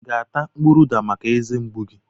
I ga-ata mkpụrụ uda maka eze mgbu gị?